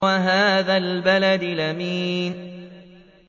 وَهَٰذَا الْبَلَدِ الْأَمِينِ